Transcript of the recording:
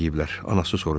Anası soruşdu.